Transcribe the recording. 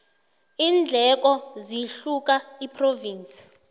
iindleko zihluka iphrovinsi